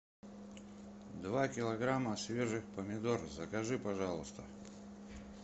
два килограмма свежих помидор закажи пожалуйста